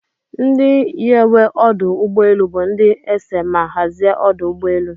Ndi nyewe ọdụ ụgbọ elu bu ndi ese ma hazia ọdụ ụgbọ elu.